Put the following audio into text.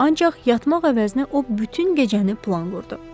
Ancaq yatmaq əvəzinə o bütün gecəni plan qurdu.